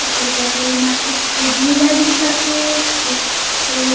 ओकर बगल मा एकठो झूला दिखत हे एकठो--